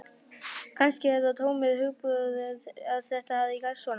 Kannski er það tómur hugarburður að þetta hafi gerst svona.